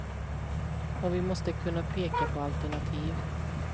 Och vi måste kunna peka på alternativ.